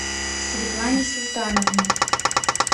светлане султановне